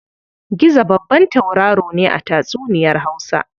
Gizo babban tauraro ne a tatsuniyar Hausa.